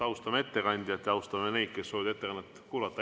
Austame ettekandjat ja austame neid, kes soovivad ettekannet kuulata.